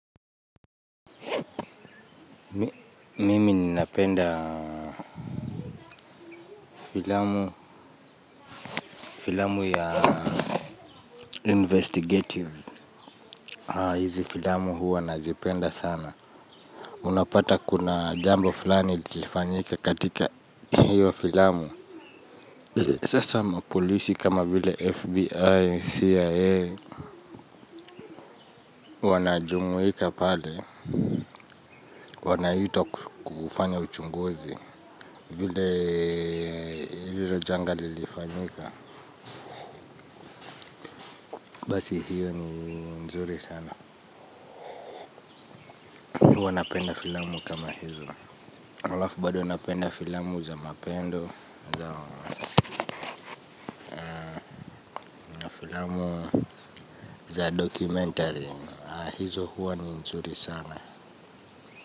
Mimi nina penda filamu filamu ya investigative hizi filamu hua nazipenda sana unapata kuna jambo fulani ilifanyika katika hiyo filamu sasa polisi kama vile fbi cia wanajumuika pale wanahito kufanya uchunguzi vile hilo janga lilifanyika basi hiyo ni nzuri sana huwa napenda filamu kama hizo Olaf bado napenda filamu za mapendo. Za filamu za dokumentari hizo huwa ni nzuri sana.